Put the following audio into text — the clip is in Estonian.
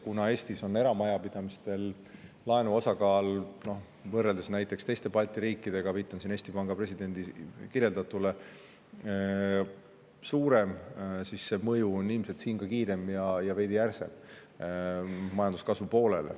Kuna Eestis on eramajapidamiste laenude osakaal võrreldes näiteks teiste Balti riikidega suurem, viitan siin Eesti Panga presidendi kirjeldatule, siis see mõju majanduskasvule on ilmselt siin ka kiirem ja veidi järsem.